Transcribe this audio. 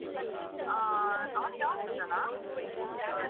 ಆ, ಅವನಿಗ್ ಯಾವುದು ಇಷ್ಟನಾ? flavor ಉ?